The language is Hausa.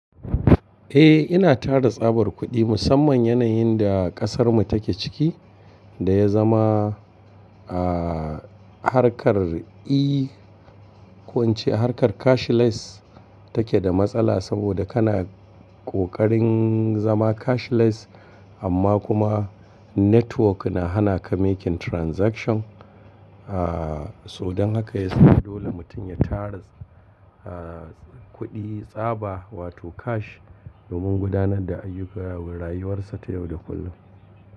Eh, ina tara tsabar kuɗi musamman yanayin da ƙasarmu take ciki da ya zama, ah, harkar e- ko ince harkar cashless take da matsala saboda kana ƙoƙarin zama cashless amma kuma network na hana ka making transaction. Ah, sodan haka yasa dole mutum ya tara, ah, kuɗi tsaba wato cash domin gudanar da ayyukan rayuwarsa ta yau da kullum.